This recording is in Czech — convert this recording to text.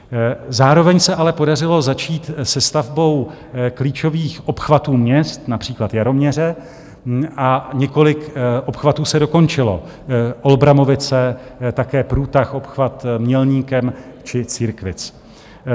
Zároveň se ale podařilo začít se stavbou klíčových obchvatů měst, například Jaroměře, a několik obchvatů se dokončilo - Olbramovice, také průtah, obchvat Mělníkem či Církvic.